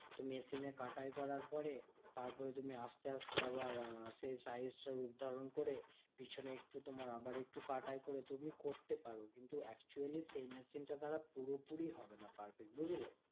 তো machine এ কাটাই করার পরে। তারপরে তুমি আসতে আসতে আবার সেই size টা রূপ ধারণ করে। পেছনে একটু তোমার আবার একটু পাটায় করে তুমি করতে পারো। কিন্তু actually সেই machine টা দ্বারা পুরোপুরি হবে না perfect, বুঝলে?